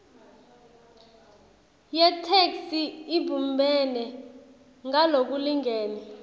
yetheksthi ibumbene ngalokulingene